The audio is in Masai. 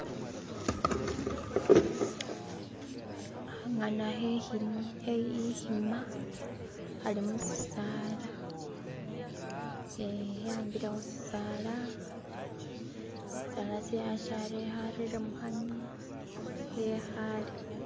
hahana he ihima hali musisaala heyambile husisaala sisaala silala hareye muhanwa hehale